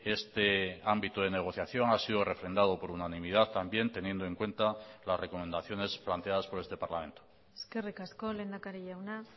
este ámbito de negociación ha sido refrendado por unanimidad también teniendo en cuenta las recomendaciones planteadas por este parlamento eskerrik asko lehendakari jauna